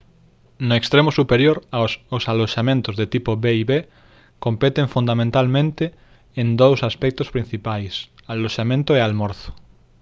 no extremo superior os aloxamentos de tipo b&b competen fundamental en dous aspectos principais aloxamento e almorzo